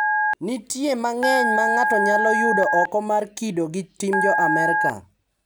Nitie mang`eny ma ng`ato nyalo yudo oko mar kido gi tim jo Amerka.